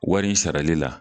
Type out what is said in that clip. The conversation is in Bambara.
Wari sarali la